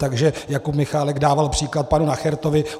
Takže Jakub Michálek dával příklad panu Nachertovi.